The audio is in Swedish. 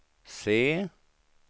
C